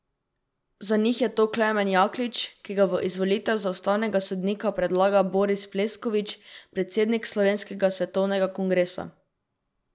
Za njih je to Klemen Jaklič, ki ga v izvolitev za ustavnega sodnika predlaga Boris Pleskovič, predsednik Slovenskega svetovnega kongresa.